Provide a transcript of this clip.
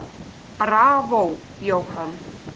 Bravó, Jóhann.